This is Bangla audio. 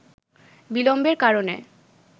বিলম্বের কারণে